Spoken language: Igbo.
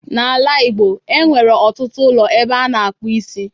N'ala Ịgbo, e nwere ọtụtụ ụlọ ebe a na-akpụ isi.